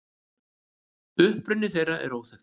Uppruni þeirra er óþekktur.